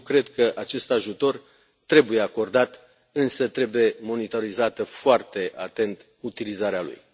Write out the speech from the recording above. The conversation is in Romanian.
Eu cred că acest ajutor trebuie acordat, însă trebuie monitorizată foarte atent utilizarea lui.